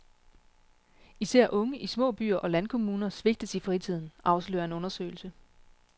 Især unge i små byer og landkommuner svigtes i fritiden, afslører en undersøgelse.